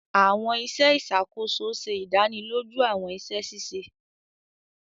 Awọn iṣẹ iṣakoso ṣe ìdánilójú awọn iṣẹ ṣiṣe.